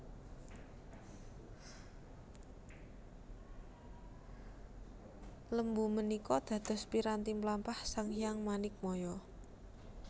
Lembu menikå dados piranti mlampah Sang Hyang Manikmaya